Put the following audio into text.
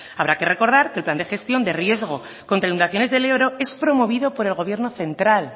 habrá que recordar que el plan de gestión de riesgos contra inundaciones del ebro es promovido por el gobierno central